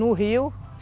No rio.